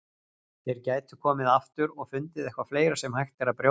Þeir gætu komið aftur og fundið eitthvað fleira sem hægt er að brjóta.